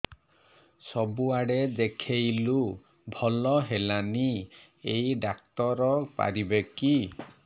ସବୁଆଡେ ଦେଖେଇଲୁ ଭଲ ହେଲାନି ଏଇ ଡ଼ାକ୍ତର ପାରିବେ କି